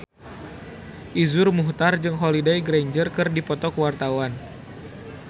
Iszur Muchtar jeung Holliday Grainger keur dipoto ku wartawan